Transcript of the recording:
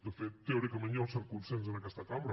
de fet teòricament hi ha un cert consens en aquesta cambra